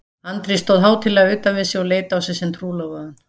Andri stóð hátíðlega utan við og leit á sig sem trúlofaðan.